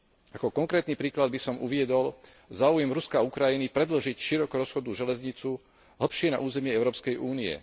Ako konkrétny príklad by som uviedol záujem Ruska a Ukrajiny predĺžiť širokorozchodnú železnicu hlbšie na územie Európskej únie.